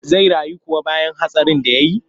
Zai rayu kuwa bayan hatsarin da ya yi?